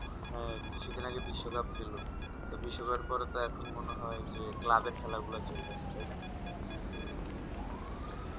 কিছুদিন আগে বিশ্ব cup খেলবো তো বিশ্ব cup এর পরে যেকোন তো মনে হয় club এর খেলা গুলো চলবে তাই না